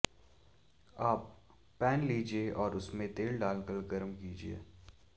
अब पैन लीजिये और उसमें तेल डाल कर गरम कीजिये